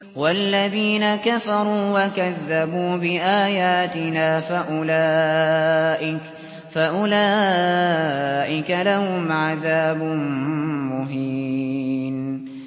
وَالَّذِينَ كَفَرُوا وَكَذَّبُوا بِآيَاتِنَا فَأُولَٰئِكَ لَهُمْ عَذَابٌ مُّهِينٌ